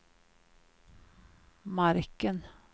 marken